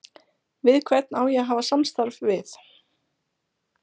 Við hvern á ég að hafa samstarf við?